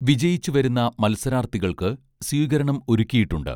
വിജയിച്ചു വരുന്ന മത്സരാർഥികൾക്ക് സ്വീകരണം ഒരുക്കിയിട്ടുണ്ട്